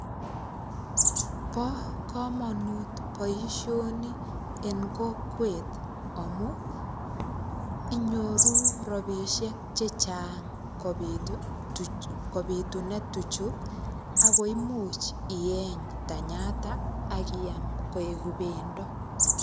Bo komonut boisoni en kokwet, amu inyoru rabisiek chechang kobitune tuchu. Akoimuch ieny tanyata, akiam koek pendo.